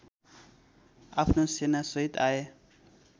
आफ्नो सेनासहित आए